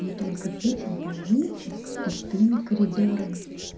мы только видим больниц с пустыми коридорами